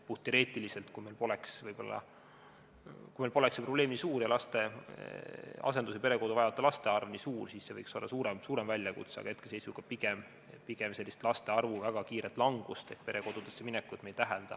Puhtteoreetiliselt: kui meil poleks see probleem ning asendus- ja perekodu vajavate laste arv nii suur, siis see võiks olla suurem väljakutse, aga hetkeseisuga pigem laste arvu väga kiiret langust ehk perekodudesse minekut me ei tähelda.